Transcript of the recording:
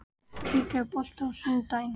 Kikka, er bolti á sunnudaginn?